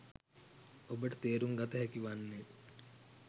ඔබට තේරුම් ගත හැකි වන්නේ